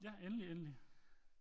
Ja endelig endelig